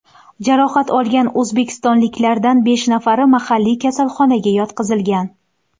Jarohat olgan o‘zbekistonliklardan besh nafari mahalliy kasalxonaga yotqizilgan .